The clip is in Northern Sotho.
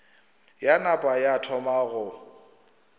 ya napa ya thoma go